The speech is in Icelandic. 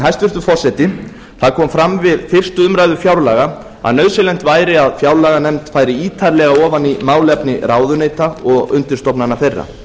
hæstvirtur forseti það kom fram við fyrstu umræðu fjárlaga að nauðsynlegt væri að fjárlaganefnd færi ítarlega ofan í málefni ráðuneyta og undirstofnana þeirra